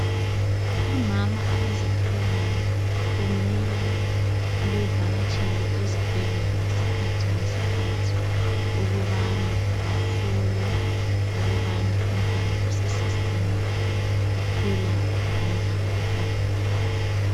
Omama abazithweleyo kumele bevakatshele ezibhedlela ngesikhathi ngesikhathi ukubana bahlolwe ukubana umntwana osesiswini uphila ngendlela efaneleyo